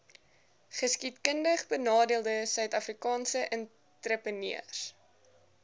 geskiedkundigbenadeelde suidafrikaanse entrepreneurs